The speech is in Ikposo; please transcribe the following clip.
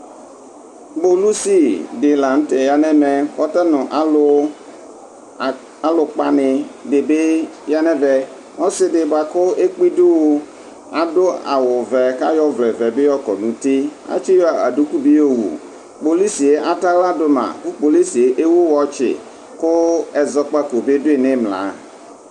Kpolusi di lanʋ tɛ ya nʋ ɛmɛ, kʋ ata nʋ aluʋkpa ni di bɩ ya nʋ ɛvɛ Ɔsi di bʋakʋ ekpidu wʋ adu awuvɛ, kʋ ayɔ ɔvlɛvɛ bɩ yɔkɔ nʋ uti Atsiyɔ duku bɩ yowu Kpolusi yɛ atɛ aɣladu ma, kʋ kpolusi yɛ ewu wɔtsɩ, kʋ ɛzɔkpako bɩ ɔdʋyɩ nʋ imla